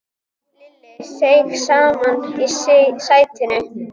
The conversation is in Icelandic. Lilla seig saman í sætinu.